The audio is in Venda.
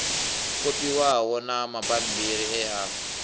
kopiwaho na mabammbiri e a